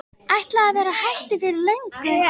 Ætlaði að vera hættur fyrir löngu.